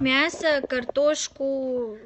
мясо картошку